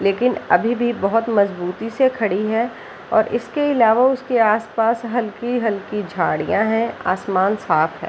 लेकिन अभी भी बहोत मजबूती से खड़ी है और इसके इलावा उसके आस-पास हल्की हल्की झाड़ियां है आसमान साफ है।